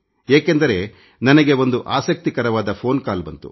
ಏಕೆಂದರೆ ನನಗೆ ಒಂದು ಆಸಕ್ತಿಕರವಾದ ಫೋನ್ ಕಾಲ್ ಬಂತು